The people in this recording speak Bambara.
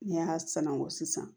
N'i y'a sanangon sisan